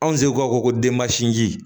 Anw seko ko denba sinji